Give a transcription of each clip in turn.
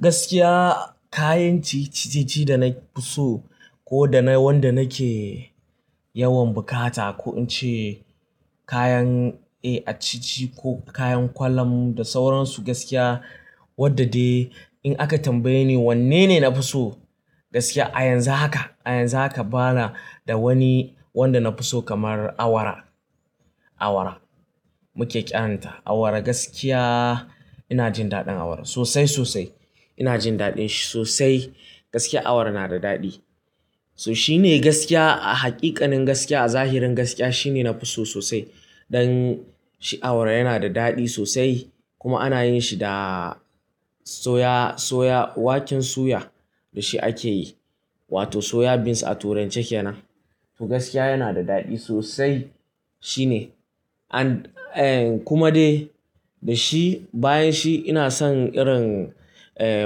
Gaskiya kayan ciye-ciye da na fi so ko da na wanda nake yawan buƙata ko in ce kayan, eh, acici ko kayan ƙwalam da sauransu gaskiya wadda dai in aka tambaye ni wanne ne na fi so gaskiya a yanzu haka, a yanzu haka bana da wani wanda na fi so kamar awara. Awara muke kiranta. Awara gaskiya ina jin daɗin awara sosai, sosai. Ina jin daɗin shi sosai. Gaskiya awara na da daɗi. So shi ne gaskiya a haƙiƙanin gaskiya a zahirin gaskiya shi ne na fi so sosai. Dan shi awara yana da daɗi sosai kuma ana yin shi da soya, soya, waken suya da shi ake yi wato soya beans a turance kenan. To gaskiya yana da daɗi sosai. Shi ne. An, eh kuma dai da shi bayan shi ina son irin, eh,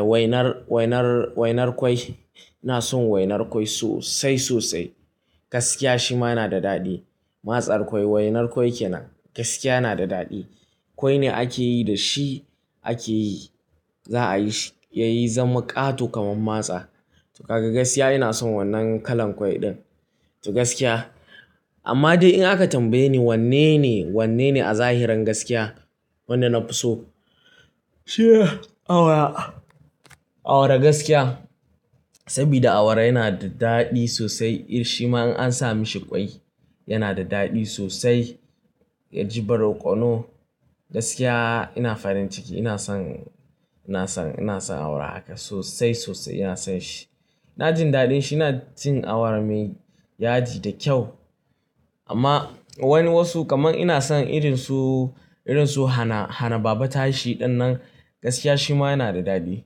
wainar, wainar, wainar ƙwai. Ina son wainar ƙwai sosai, sosai. Gaskiya shi ma yana da daɗi. Masar ƙwai, wainar ƙwai kenan gaskiya yana da daɗi. Ƙwai ne ake yi da shi ake yi, za a yi shi yayi zama ƙato kamar matsa. To gaskiya ina son wannan kalan ƙwai ɗin. To gaskiya amma dai in aka tambaye ni wanne ne, wanne ne a zahirin gaskiya wanda na fi so? Awara. Awara gaskiya saboda awara yana da daɗi sosai. Ir shi ma in an sa mishi ƙwai yana da daɗi sosai. Ya ji barkono. Gaskiya ina farin ciki ina son, ina son, ina son awara haka sosai, sosai ina son shi. Ina jin daɗin shi. Na cin awara mai yaji da kyau. Amma wani wasu kamar ina son irin su, irin su hana, hana baba tashi ɗin nan gaskiya shi ma yana da daɗi.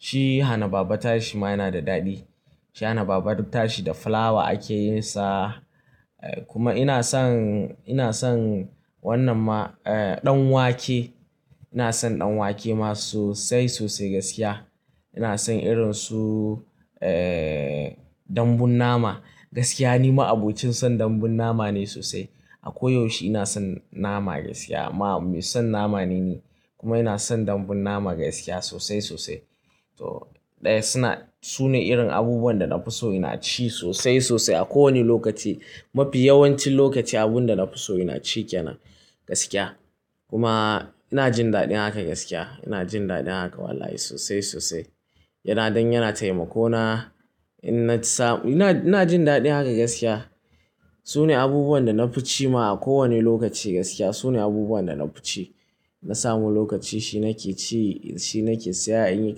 Shi hana baba tashi shi ma yana da daɗi. Shi hana baba tashi da fulawa ake yin sa. Eh kuma ina son, ina son wannan ma, eh, ɗan wake. Ina son ɗan wake ma sosai, sosai gaskiya. Ina son irin su, eh, dambun nama. Gaskiya ni ma abocin son dambun nama ne sosai. A koyaushe ina son nama gaskiya. Ma son nama ne ni kuma ina son dambun nama gaskiya sosai, sosai. To ɗaya suna, su ne irin abubuwan da na fi so ina ci sosai, sosai a kowane lokaci. Mafi yawancin lokaci abun da na fi so ina ci kenan gaskiya. Kuma ina jin daɗin haka gaskiya. Ina jin daɗin haka wallahi sosai, sosai. Yana dan yana taimako na in na ci sa. Ina, ina jin daɗin haka gaskiya. Su ne abubuwan da na fi ci ma a kowane lokaci gaskiya. Su ne abubuwan da na fi ci. Na samu lokaci shi nake ci, shi nake siya a in yi.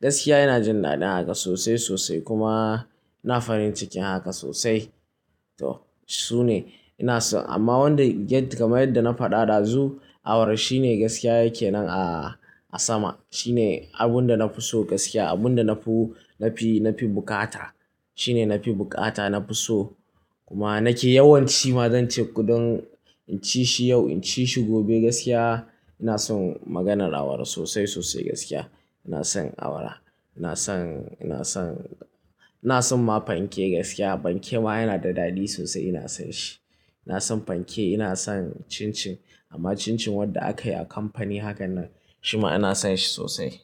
Gaskiya ina jin daɗin haka sosai, sosai kuma ina farin ciki haka sosai. To su ne ina so amma wanda yadda kamar yadda na faɗa ɗazu awara shi ne gaskiya yake nan a, a sama. Shi ne abun da na fi so gaskiya. Abun da na fi, na fi, na fi bukata. Shi ne na fi bukata, na fi so kuma nake yawanci ma zan ce kuɗin in ci shi yau, in ci shi gobe gaskiya ina son maganar awara sosai, sosai gaskiya. Ina son awara. Ina son, ina son, ina son ma fanke gaskiya. Fanke ma yana da daɗi sosai ina son shi. Ina son fanke, ina son cincin amma cincin wadda aka yi a kamfani haka nan shi ma ina son shi sosai.